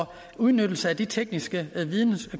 udnyttelse af de tekniske